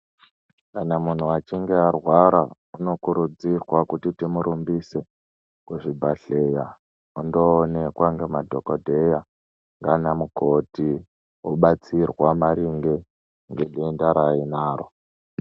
Kana munhu achinge arwara tinokurudzirwa kuti timurumbise kuzvibhadhleya ondonelwa nemadhogodheya nana mukoti obatsirwa maringe ngedenda raainaro.